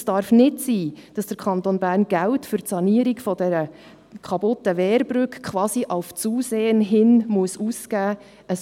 Es darf nicht sein, dass der Kanton Bern Geld für die Sanierung der kaputten Wehrbrücke quasi auf Zusehen ausgeben muss.